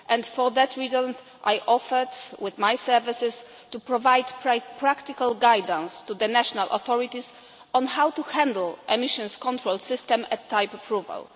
For that reason I offered, with my services, to provide practical guidance to the national authorities on how to handle emissions control systems at type approval.